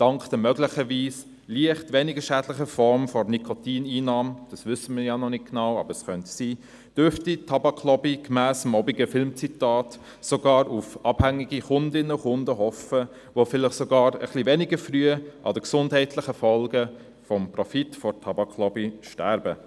Dank der möglicherweise leicht weniger schädlichen Form der Nikotineinnahme – das wissen wir noch nicht genau – dürfte die Tabak-Lobby gemäss dem obigen Filmzitat sogar auf abhängige Kundinnen und Kunden hoffen, die vielleicht etwas weniger früh an den gesundheitlichen Folgen ihres Profits sterben.